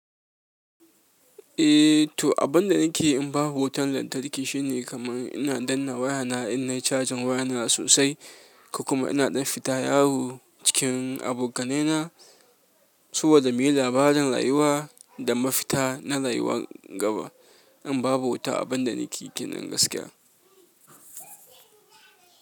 Eh toh abunda nake in babu wutan lantarki shine kaman ina danna wayana in nayi cajin wayana sosai ko kuma ina ɗan fita yawo cikin abokanai na saboda muyi labarin rayuwa da mafita na rayuwa gaba in babu wuta abin da nake kinen gaskiya.